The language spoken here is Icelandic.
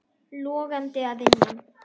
Logandi að innan.